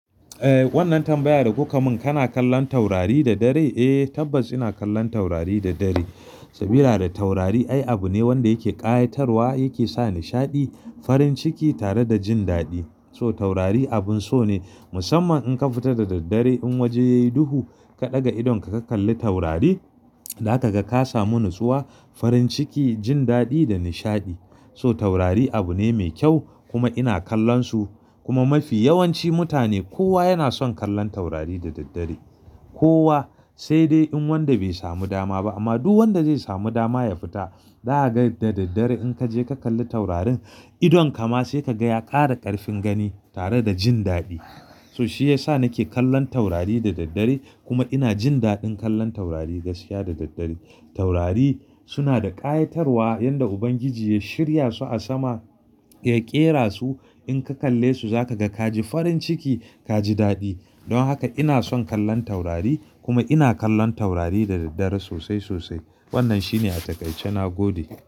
Eh wannan tambayar da kuka mun kana kallon taurari da dare? Eh tabbas ina kallon taurari da dare saboda taurari ai abu ne wanda yake ƙayatarwa yake sa nishaɗi farin ciki tare da jin daɗi. So taurari abun so ne musamman in ka fita da daddare in waje yayi duhu ka ɗaga idonka ka kalli taurari za ka ga ka samu natsuwa farin ciki jin daɗi da nishaɗi. So taurari abu ne mai kyau kuma ina kallon su kuma mafi yawanci mutane kowa yana son kallon taurari da daddare. Kowa sai dai in wanda bai samu dama ba amma duk wanda zai samu dama ya fita zaka ga da daddare in ka je ka kalli taurarin idonka ma sai ka ga ya ƙara ƙarfin gani tare da jin daɗi. So shi yasa nake kallon taurari da daddare kuma ina jin daɗin kallon taurari gaskiya da daddare. Taurari suna da ƙayatarwa yanda Ubangiji ya shirya su a sama ya ƙera su in ka kalle su za ka ga ka ji farin ciki ka ji daɗi. Don haka ina son kallon taurari kuma ina kallon taurari da daddare sosai sosai. Wannan shine a takaice na gode.